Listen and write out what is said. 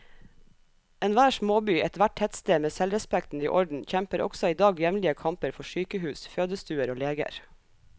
Enhver småby, ethvert tettsted med selvrespekten i orden, kjemper også i dag jevnlige kamper for sykehus, fødestuer og leger.